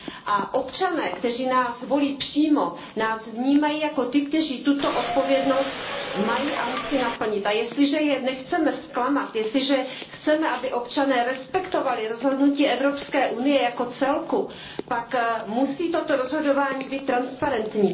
A občané, kteří nás volí přímo, nás vnímají jako ty, kteří tuto odpovědnost mají a musí naplnit. A jestliže je nechceme zklamat, jestliže chceme, aby občané respektovali rozhodnutí Evropské unie jako celku, pak musí toto rozhodování být transparentní.